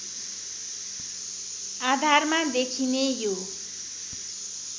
आधारमा देखिने यो